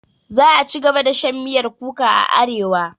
Za'a cigaba da shan miyar kuka a arewa.